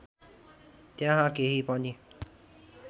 त्यहाँ केही पनि